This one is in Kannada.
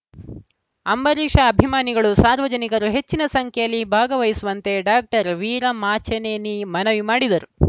ಅಂಬರೀಷ ಅಭಿಮಾನಿಗಳು ಸಾರ್ವಜನಿಕರು ಹೆಚ್ಚಿನ ಸಂಖ್ಯೆಯಲ್ಲಿ ಭಾಗವಹಿಸುವಂತೆ ಡಾಕ್ಟರ್ ವೀರಮಾಚಿನೇನಿ ಮನವಿ ಮಾಡಿದರು